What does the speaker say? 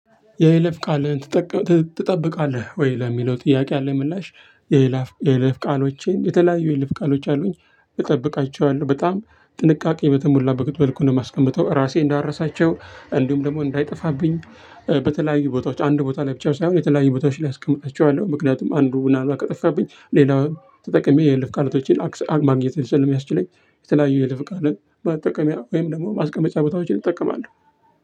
የይለፍ ቃልን ትጠብቃለህ ወይ? ለሚለው ጥያቄ ያለኝ ምላሽ የይለፍ የ ይለፍ ቃሎቼን የተለያዩ የ ይለፍ ቃሎች አሉኝ እጠብቃቸዋለሁ በጣም ጥንቃቄ በተሞላ መልኩ ነው የማስቀምጠው። ራሴ እንዳረሳቸው እንዲሁም ደግሞ እንዳይጠፋብኝ በተለያዩ ቦታዎች አንድ ቦታ ላይ ብቻ ሳይሆን የተለያዩ ቦታዎች ላይ አስቀምጣቸዋለሁ። ምክንያቱም አንዱ ምንአልባት ከጠፋብኝ ሌላው ተጠቅሜ የ ይለፍ ቃላቶችን ማግኘት ስለሚያስችለኝ። የተለያዩ የ ይለፍ ቃላት መጠቀሚያ ወይም ደግሞ ማስቀመጫ ቦታዎችን እጠቀማለሁ።